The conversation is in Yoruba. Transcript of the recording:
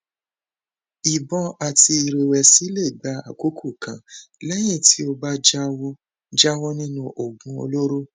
ìbọn àti ìrẹwẹsì lè gba àkókò kan lẹyìn tí o bá jáwọ jáwọ nínú oògùn olóró